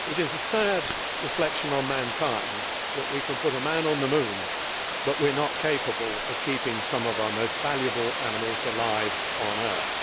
Madam President, it is a sad reflection on mankind that we can put a man on the moon, but we are not capable of keeping some of our most valuable animals alive on earth.